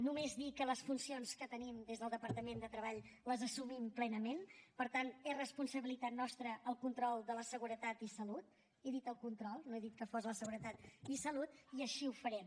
només dir que les funcions que tenim des del departament de treball les assumim plenament per tant és responsabilitat nostra el control de la seguretat i salut he dit el control no he dit que fos la seguretat i salut i així ho farem